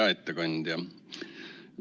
Hea ettekandja!